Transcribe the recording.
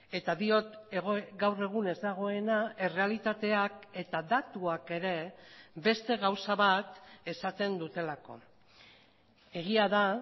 eta diot gaur egun ez dagoena errealitateak eta datuak ere beste gauza bat esaten dutelako egia da